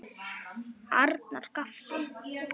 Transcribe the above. Arnar gapti.